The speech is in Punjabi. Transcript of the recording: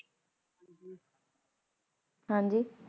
ਹਾਂਜੀ